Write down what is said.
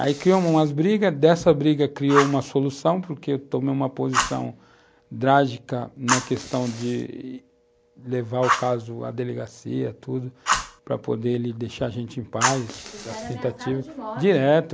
Aí criou umas brigas, dessa briga criou uma solução, porque eu tomei uma posição drástica na questão de levar o caso à delegacia, tudo, para poder ele deixar a gente em paz, das tentativas, você era ameaçado de morte... direto...